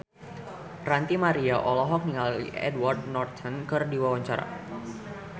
Ranty Maria olohok ningali Edward Norton keur diwawancara